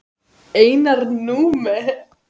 Einar Númi.